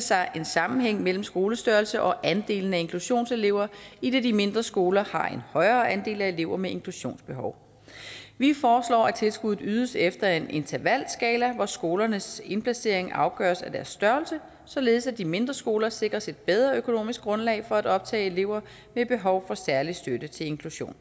sig en sammenhæng mellem skolestørrelse og andelen af inklusionselever idet de mindre skoler har en højere andel af elever med inklusionsbehov vi foreslår at tilskuddet ydes efter en intervalskala hvor skolernes indplacering afgøres af deres størrelse således at de mindre skoler sikres et bedre økonomisk grundlag for at optage elever med behov for særlig støtte til inklusion